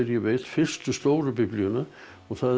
veit fyrstu stóru Biblíuna og það er